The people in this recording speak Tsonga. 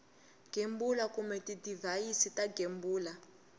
gembula kumbe tidivhayisi to gembula